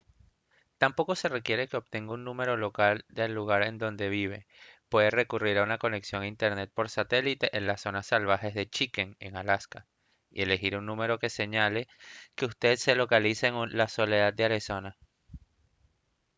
tampoco se requiere que obtenga un número local del lugar en donde vive puede recurrir a una conexión a internet por satélite en las zonas salvajes de chicken en alaska y elegir un número que señale que usted se localiza en la soleada arizona